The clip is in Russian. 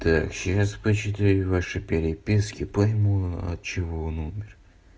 так сейчас почитаю ваши переписки пойму отчего он умер